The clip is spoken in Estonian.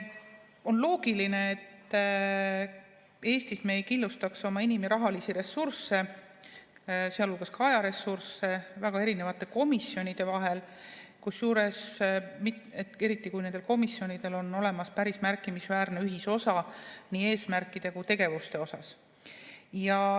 On loogiline, et Eestis me ei killustaks oma inim‑ ja rahalisi ressursse, sealhulgas ajaressursse väga erinevate komisjonide vahel, eriti kui nendel komisjonidel on olemas päris märkimisväärne ühisosa nii eesmärkides kui ka tegevustes.